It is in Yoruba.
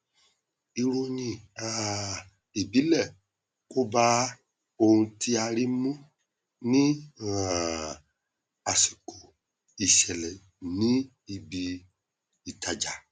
ìròyìn um ìbílẹ kò bá ohun tí a rí mu ní um àsìkò ìṣẹlẹ ní ibi ìtajà